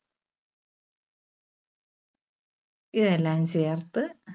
ഇതെല്ലാം ചേർത്ത്